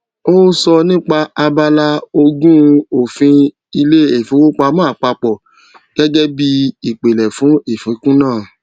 ó sọ nípa abala ogún òfin ilé ìfowópamọ àpapọ gẹgẹ bí ìpìlẹ fún ìfikún náà